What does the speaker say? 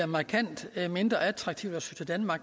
markant mindre attraktivt